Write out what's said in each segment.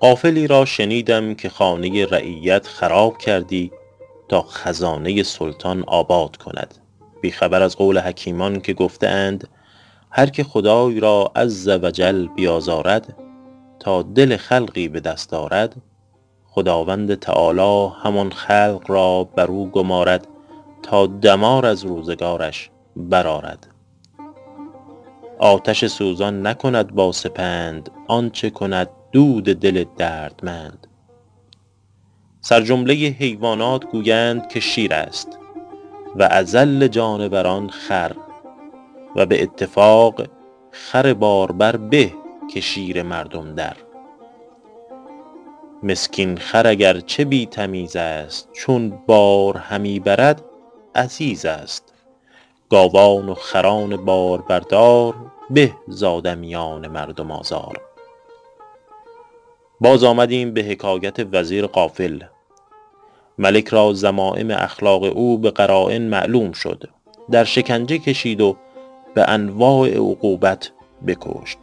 غافلی را شنیدم که خانه رعیت خراب کردی تا خزانه سلطان آباد کند بی خبر از قول حکیمان که گفته اند هرکه خدای را -عزوجل- بیازارد تا دل خلقی به دست آرد خداوند تعالیٰ همان خلق را بر او گمارد تا دمار از روزگارش برآرد آتش سوزان نکند با سپند آنچه کند دود دل دردمند سرجمله حیوانات گویند که شیر است و اذل جانوران خر و به اتفاق خر باربر به که شیر مردم در مسکین خر اگر چه بی تمیز است چون بار همی برد عزیز است گاوان و خران باربردار به ز آدمیان مردم آزار باز آمدیم به حکایت وزیر غافل ملک را ذمایم اخلاق او به قراین معلوم شد در شکنجه کشید و به انواع عقوبت بکشت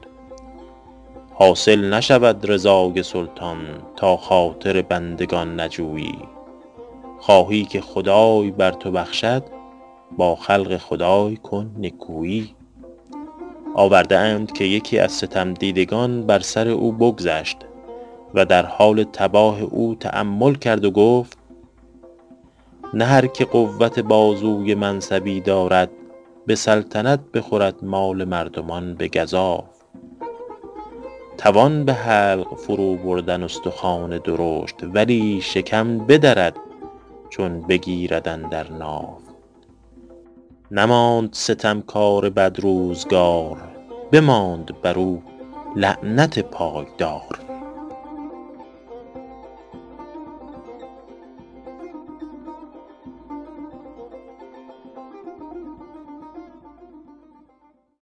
حاصل نشود رضای سلطان تا خاطر بندگان نجویی خواهی که خدای بر تو بخشد با خلق خدای کن نکویی آورده اند که یکی از ستم دیدگان بر سر او بگذشت و در حال تباه او تأمل کرد و گفت نه هرکه قوت بازوی منصبی دارد به سلطنت بخورد مال مردمان به گزاف توان به حلق فرو بردن استخوان درشت ولی شکم بدرد چون بگیرد اندر ناف نماند ستم کار بدروزگار بماند بر او لعنت پایدار